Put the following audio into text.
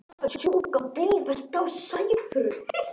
En gera þau það?